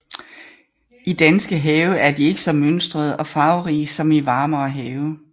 I danske have er de ikke så mønstrede og farverige som i varmere have